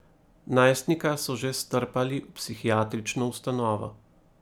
Najstnika so že strpali v psihiatrično ustanovo.